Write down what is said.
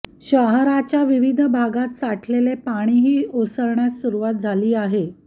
शहराच्या विविध भागांत साठलेले पाणीही ओसरण्यास सुरुवात झाली आहे